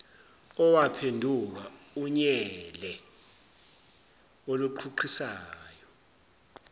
owaphenduka unyele oluqhuqhisayo